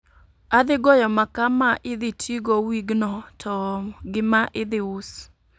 Adhi goyo makaa ma idhi ti go wigno to ma idhi us